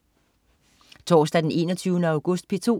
Torsdag den 21. august - P2: